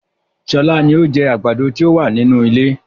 Sọlá ni ó jẹ àgbàdo ti o wa ni inú ilé